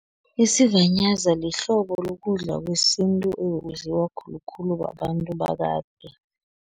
Isivanyaza lihlobo lokudla kwesintu, okudliwa khulukhulu babantu bakade.